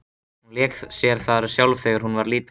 Hún lék sér þar sjálf þegar hún var lítil.